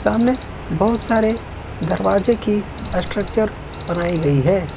सामने बहुत सारे दरवाजे की स्ट्रक्चर बनाई गई है।